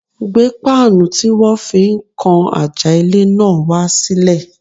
Gbé páànù tí wọ́n fi ń kan àjà ilé náà wá sílẹ̀.